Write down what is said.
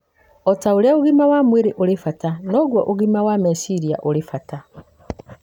O ta ũrĩa ũgima wa mwĩrĩ ũrĩ wa bata, noguo ũgima wa meciria ũrĩ wa bata.